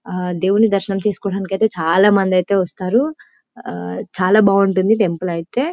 ఆ దేవుని దర్శనం చేసుకోడానికైతే చాలా ముందైతే వస్తారు ఆ చాలా బాగుంటుంది టెంపుల్ ఐతే